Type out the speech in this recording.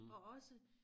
Og også